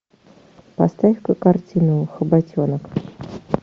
поставь ка картину хоботенок